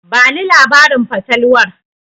Bani labarin fatalwar.